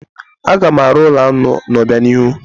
Aga m arụ ụlọ aṅụ n'obianihu.